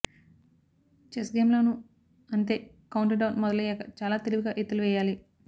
chess game లోనూ అంతే countdown మొదలయ్యాక చాలా తెలివిగా ఎత్తులు వేయాలి